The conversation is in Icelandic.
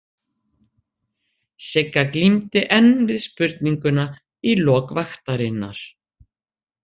Sigga glímdi enn við spurninguna í lok vaktarinnar.